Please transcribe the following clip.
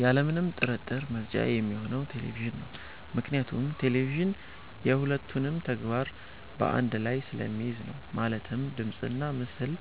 ያለምንም ጥርጥር ምርጫዬ ሚሆነው ቴሌቪዥን ነው። ምክንያቱም ቴሌቪዥን የ ሁለቱንም ተግባር በ አንድ ላይ ስለሚይዝልኝ ነው። ማለትም ድምጽና ምስል